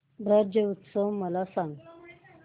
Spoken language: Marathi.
ब्रज उत्सव मला सांग